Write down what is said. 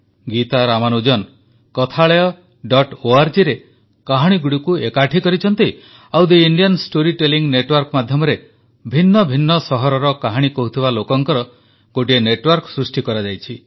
ଗୀତା ରାମାନୁଜନ kathalayaorgରେ କାହାଣୀଗୁଡ଼ିକୁ ଏକାଠି କରିଛନ୍ତି ଆଉ the Indian story telling network ମାଧ୍ୟମରେ ଭିନ୍ନ ଭିନ୍ନ ସହରର କାହାଣୀ କହୁଥିବା ଲୋକଙ୍କ ଗୋଟିଏ ନେଟୱାର୍କ ସୃଷ୍ଟି କରାଯାଉଛି